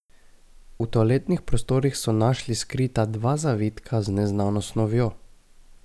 V toaletnih prostorih so našli skrita dva zavitka z neznano snovjo.